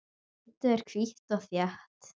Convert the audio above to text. Holdið er hvítt og þétt.